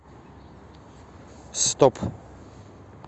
стоп